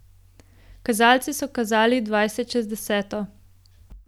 Kazalci so kazali dvajset čez deseto.